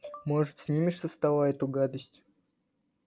может снимешь со стола эту гадость